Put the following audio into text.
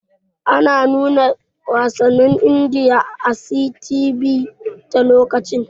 Ana nuna wasannin Indiya a 'CTV' ta lokacin.